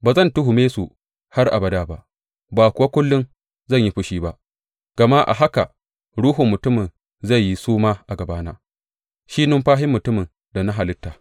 Ba zan tuhume su har abada ba, ba kuwa kullum zai yi fushi ba, gama a haka ruhun mutumin zan yi suma a gabana, shi numfashin mutumin da na halitta.